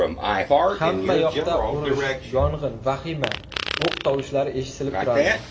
Hamma yoqda urush, yong‘in, vahima... o‘q tovushlari eshitilib turardi.